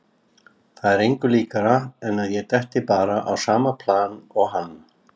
Það er engu líkara en að ég detti bara á sama plan og hann.